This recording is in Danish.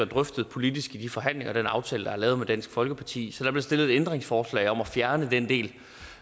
drøftet politisk i de forhandlinger og den aftale der er lavet med dansk folkeparti så der blev stillet ændringsforslag om at fjerne den del